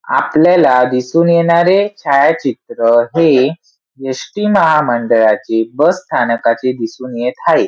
आपल्याला दिसून येणारे छायाचित्र हे एस.टी. महामंडळाचे बस स्थानकाचे दिसून येत हाये.